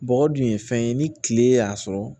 Bɔgɔ dun ye fɛn ye ni kile y'a sɔrɔ